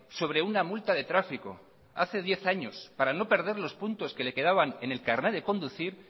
sobre una multa de tráfico hace diez años para no perder los puntos que le quedaban en el carné de conducir